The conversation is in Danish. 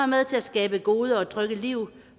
med til at skabe gode og trygge liv